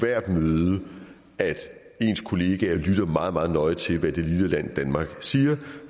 hvert møde at ens kollegaer lytter meget meget nøje til hvad det lille land danmark siger